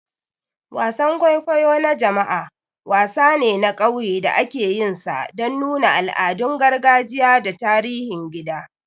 Wasan kwaikwayo na jama'a, wasan ne na ƙauye da akeyinsa dan nuna al'adun gargajiya da tarihin gida.